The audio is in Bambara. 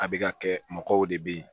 A bɛ ka kɛ mɔgɔw de bɛ ye